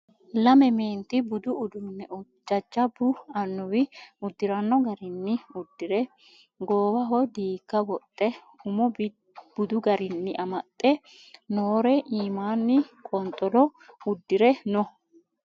Lame meenti budu uduunne jajjabbu amuwi uddiranno garinni uddire goowaho diigga wodhe umo bidi garinni amaxxe noore iimanni qonxolo uddire no